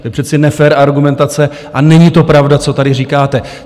To je přece nefér argumentace a není to pravda, co tady říkáte.